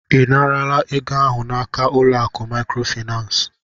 Ị naara ego ahụ n'aka ụlọ akụ Maịkrofaịnans?